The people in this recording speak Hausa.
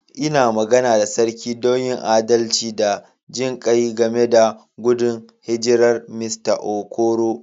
N'na magana da sarki don a yi adalci da jin kai game da gudun hijirar Mista Okoro.